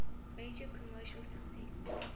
major commercial success